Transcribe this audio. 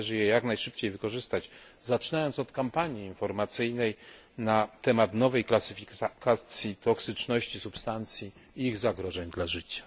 Należy je jak najszybciej wykorzystać, zaczynając od kampanii informacyjnej na temat nowej klasyfikacji toksyczności substancji i ich zagrożeń dla życia.